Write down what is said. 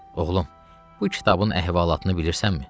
Oğlum, bu kitabın əhvalatını bilirsənmi?